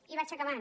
i vaig acabant